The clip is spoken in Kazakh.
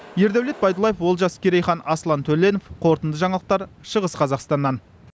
ердаулет байдулаев олжас керейхан аслан төленов қорытынды жаңалықтар шығыс қазақстаннан